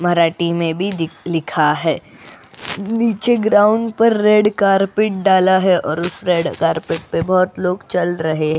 मराठी में भी दि लिखा है नीचे ग्राउंड पर रेड कार्पेट डाला है और उस रेड कार्पेट पर बहुत लोग चल रहे --